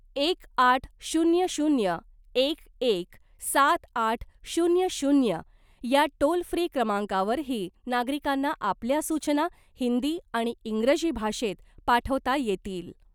एक आठ शून्य शून्य एक एक सात आठ शून्य शून्य या टोल फ्री क्रमांकावरही नागरिकांना आपल्या सूचना हिंदी आणि इंग्रजी भाषेत पाठवता येतील .